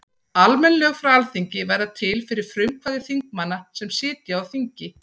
Almenn lög frá Alþingi verða til fyrir frumkvæði þingmanna sem sitja á þingi.